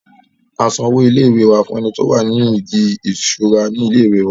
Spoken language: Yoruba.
a san owó ilé ìwé wa fún ẹni tí ó wà ní ìdí ìṣura ilé ìwé wa